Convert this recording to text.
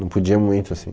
Não podia muito, assim.